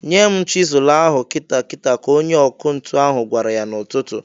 "Nye m chịsụlụ ahụ kịta kịta!" ka onye ọkụ ntu ahụ gwara ya n'ụtụtụ.